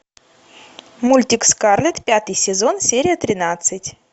мультик скарлетт пятый сезон серия тринадцать